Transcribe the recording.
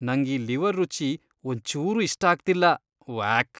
ನಂಗ್ ಈ ಲಿವರ್ ರುಚಿ ಒಂಚೂರೂ ಇಷ್ಟ ಆಗ್ತಿಲ್ಲ.. ವ್ಯಾಕ್!